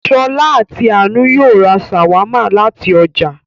Ṣọ̀lá àti Àánú yóò ra ṣàwámà láti ọjà